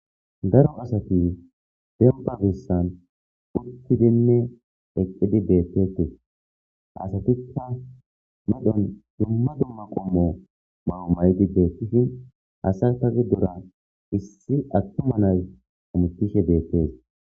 Dara asati dembba geessan uththidinne eqqidi beeththeeththes asathikka dumma dumma qommo maayuwa maayidi beeththide asasa giddora issi aththuma na7ay hamoththishe beettes.